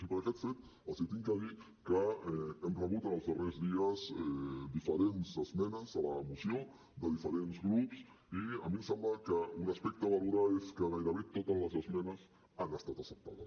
i per aquest fet els he de dir que hem rebut en els darrers dies diferents esmenes a la moció de diferents grups i a mi em sembla que un aspecte a valorar és que gairebé totes les esmenes han estat acceptades